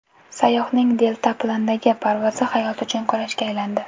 Sayyohning deltaplandagi parvozi hayot uchun kurashga aylandi .